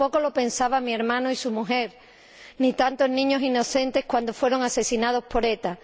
tampoco lo pensaban mi hermano y su mujer ni tantos niños inocentes cuando fueron asesinados por ETA.